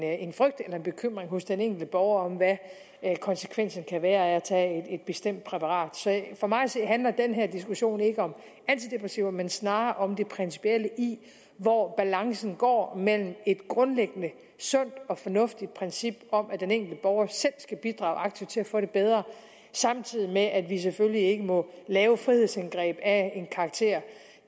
en frygt eller bekymring hos den enkelte borger over hvad konsekvensen kan være af at tage et bestemt præparat så for mig at se handler den her diskussion ikke om antidepressiver men snarere om det principielle i hvor balancen går mellem et grundlæggende sundt og fornuftigt princip om at den enkelte borger selv skal bidrage aktivt til at få det bedre samtidig med at vi selvfølgelig ikke må lave frihedsindgreb af en karakter